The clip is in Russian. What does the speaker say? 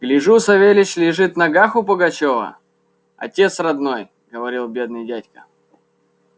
гляжу савельич лежит в ногах у пугачёва отец родной говорил бедный дядька